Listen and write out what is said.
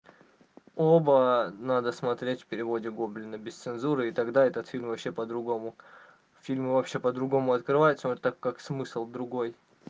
оба надо смотреть в переводе гоблина без цензуры и тогда этот фильм вообще по-другому фильму вообще по-другому открывается вот так как смысл другой